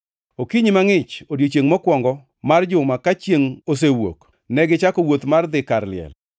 Okinyi mangʼich, odiechiengʼ mokwongo mar juma ka chiengʼ osewuok, negichako wuoth mar dhi kar liel,